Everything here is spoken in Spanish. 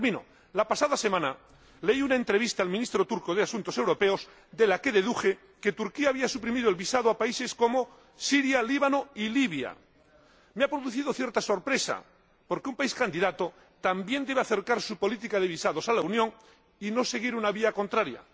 Por último, la pasada semana leí una entrevista al Ministro turco de Asuntos Europeos, de la que deduje que Turquía había suprimido el visado a países como Siria, el Líbano y Libia. Me ha producido cierta sorpresa porque un país candidato también debe acercar su política de visados a la de la Unión y no seguir una vía contraria.